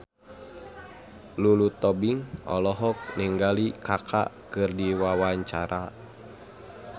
Lulu Tobing olohok ningali Kaka keur diwawancara